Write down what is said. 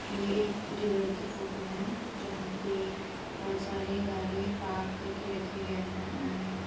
ये एक डीलर की फोटो है जहां पे बहोत सारी गाड़ियां पार्क करके रखी गई है।